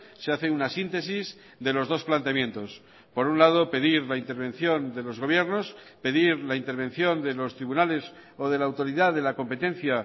se hace una síntesis de los dos planteamientos por un lado pedir la intervención de los gobiernos pedir la intervención de los tribunales o de la autoridad de la competencia